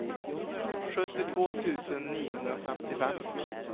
sjuttiotvå tusen niohundrafemtiofem